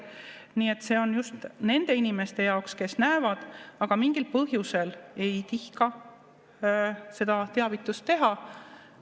Nii et see on just nende inimeste jaoks, kes näevad, aga mingil põhjusel ei tihka teavitada.